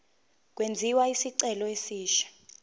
kwenziwe isicelo esisha